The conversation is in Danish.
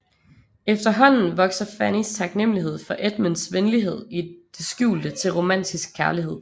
Efterhånden vokser Fannys taknemlighed for Edmunds venlighed i det skjulte til romantisk kærlighed